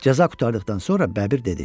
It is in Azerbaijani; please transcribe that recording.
Cəza qurtardıqdan sonra Bəbir dedi: